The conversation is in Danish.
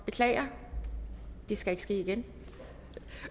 beklager det skal ikke ske igen